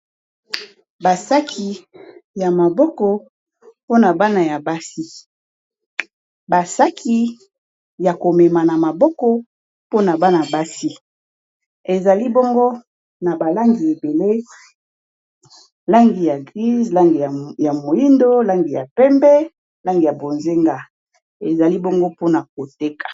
Ba saki ya maboko pona bana ya basi, ba saki yako mema na maboko pona bana basi ezali bongo na ba langi ebele langi ya grise, langi ya moyindo, langi ya pembe, langi ya bonzenga ezali bongo pona koteka.